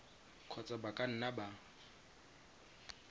kgotsa ba ka nna ba